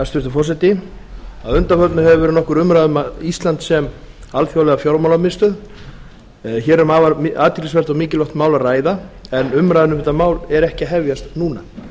hæstvirtur forseti að undanförnu hefur verið nokkur umræða um ísland sem alþjóðlega fjármálamiðstöð hér er um afar athyglisvert og mikilvægt mál að ræða en umræðan um þetta mál er ekki að hefjast núna